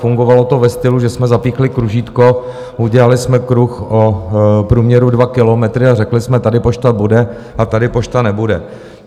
Fungovalo to ve stylu, že jsme zapíchli kružítko, udělali jsme kruh o průměru 2 kilometry a řekli jsme: Tady pošta bude a tady pošta nebude.